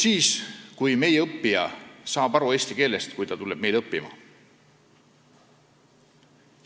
See muutuks, kui õppima tulija saaks eesti keelest aru juba siis, kui ta õppima tuleb.